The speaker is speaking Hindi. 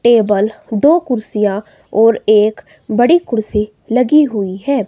टेबल दो कुर्सियां और एक बड़ी कुर्सी लगी हुई है।